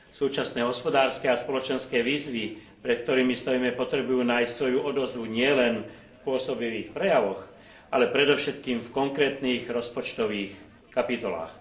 Súčasné hospodárske a spoločenské výzvy, pred ktorými stojíme, potrebujú nájsť svoju odozvu nielen v pôsobivých prejavoch, ale predovšetkým v konkrétnych rozpočtových kapitolách.